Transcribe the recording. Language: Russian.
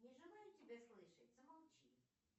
не желаю тебя слышать замолчи